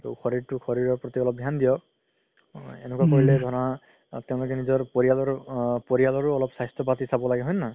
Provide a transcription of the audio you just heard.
তো শৰিৰতো শৰিৰৰ প্ৰতি অলপ ধ্যান দিয়ক এনেকুৱা কৰিলে ধৰা তেওলোকে নিজৰ পৰিয়ালৰ আ পৰিয়ালৰও অলপ স্বাস্থ্য পাতি চাব লাগে হয় নে নহয়